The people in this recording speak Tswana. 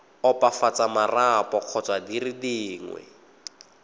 opafatsa marapo kgotsa dire dingwe